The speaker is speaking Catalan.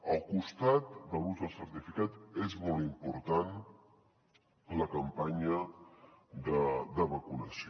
al costat de l’ús del certificat és molt important la campanya de vacunació